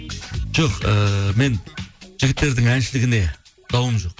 жоқ ііі мен жігіттердің әншілігіне дауым жоқ